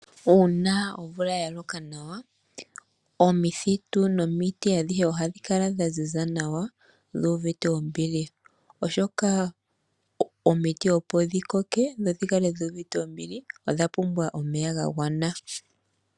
Uuna omvula yaloka nawa omithitu nomiti adhihe ohadhi kala dhaziza nawashuuvite ombili oshoka omiti opo dhikoke dho dhikale dhi uvite ombili odha pumbwa omeya gagwana.